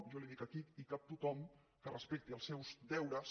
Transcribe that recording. jo li dic aquí hi cap tothom que respecti els seus deures